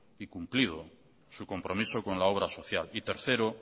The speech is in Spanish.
y cumplido su compromiso con la obra social y tercero